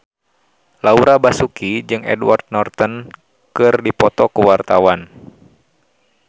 Laura Basuki jeung Edward Norton keur dipoto ku wartawan